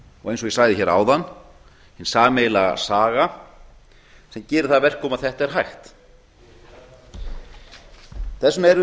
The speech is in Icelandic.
og eins og ég sagði hér áðan hin sameiginlega saga sem gerir það að verkum að þetta er hægt þess vegna er